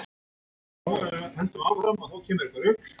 Ertu frá Englandi eða ekki frá Englandi?